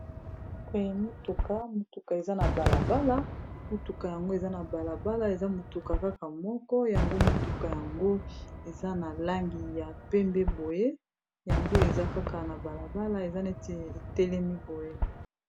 Boye motuka, motuka eza na balabala motuka yango eza na balabala eza motuka kaka moko yango motuka yango eza na langi ya pembe boye yango eza kaka na balabala eza neti etelemi boye.